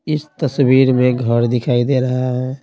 इस तस्वीर में घर दिखाई दे रहा है।